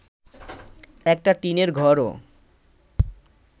একটা টিনের ঘরও